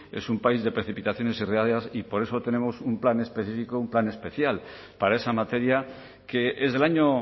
es un país de precipitaciones y riadas y por eso tenemos un plan específico un plan especial para esa materia que es del año